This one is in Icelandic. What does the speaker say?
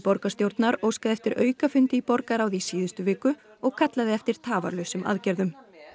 borgarstjórnar óskaði eftir aukafundi í borgarráði í síðustu viku og kallaði eftir tafarlausum aðgerðum